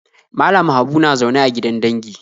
Malam Habu na zaune a gidan dangi